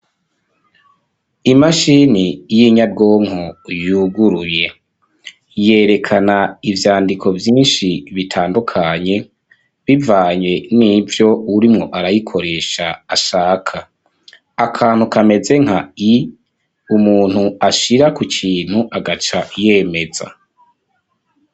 Imashini y'inyabwonko yuguruyeY yerekana ivyandiko vyinshi bitandukanye bivanye nivyo urimwo arayikoresha ashaka akantu kameze nka i umuntu ashira ku kintu agaca yemeza.